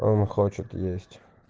он хочет есть